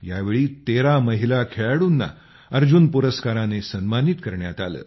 यावेळी 13 महिला खेळाडूंना अर्जुन पुरस्काराने सन्मानित करण्यात आले